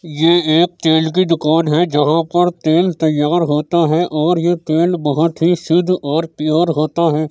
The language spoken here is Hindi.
ये एक तेल की दुकान है जहां पर तेल तैयार होता है और यह तेल बहुत ही शुद्ध और प्योर होता है।